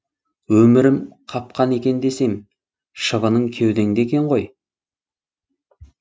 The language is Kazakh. өмірем қапқан екен десем шыбынын кеудеңде екен ғой